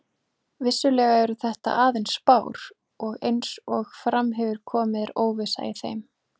Vissulega eru þetta aðeins spár og eins og fram hefur komið er óvissa í þeim.